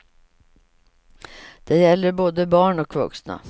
Det gäller både barn och vuxna.